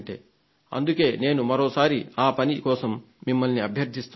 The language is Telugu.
అందుకే నేను మరోసారి ఆ పని కోసం మిమ్మల్ని అభ్యర్థిస్తున్నాను